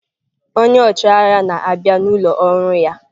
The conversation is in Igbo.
Onye ọchịagha na-abịa n'ụlọ ọrụ ya.